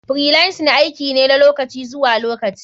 Freelancing aiki ne na lokaci zuwa lokaci.